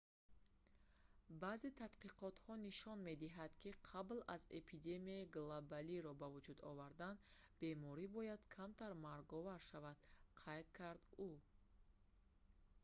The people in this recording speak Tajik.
баъзе тадқиқотҳо нишон медиҳанд ки қабл аз эпидемияи глобалиро ба вуҷуд овардан беморӣ бояд камтар марговар шавад қайд кард ӯ